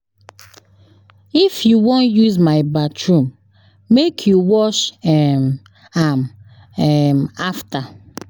If you wan use my bathroom, make you wash [ehn] am afta.